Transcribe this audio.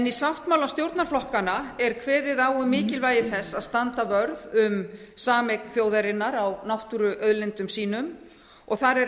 í sáttmála stjórnarflokkanna er kveðið á um mikilvægi þess að standa vörð um sameign þjóðarinnar á náttúruauðlindum sínum þar er